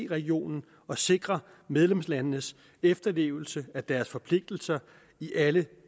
regionen og sikre medlemslandenes efterlevelse af deres forpligtelser i alle